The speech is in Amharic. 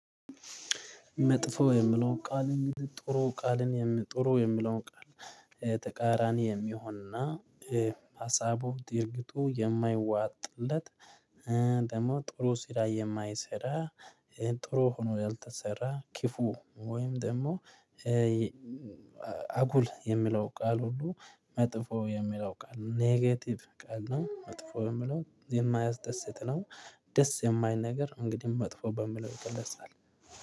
መጥፎ የምለው ቃል እንግዲህ ጥሩ ቃልን የም ጥሩ የምለውን ቃል ተቃራኒ የሚሆን እና ሀሳቡ ድርጊቱ የማይዋጥለት፤ ደግሞ ጥሩ ሲራ የማይሰራ፤ ጥሩ ሆኖ ያልተሰራ ክፉ ወይም ደግሞ አጉል የሚለው ቃል ሁሉ መጥፎ የሚለው ቃል ኔጌቲቭ ቃል ነው መጥፎ ለሚለው የማያስደስት ነው ደስ የማይል ነገር እንግዲህ መጥፎ በምለው ይገለጻል።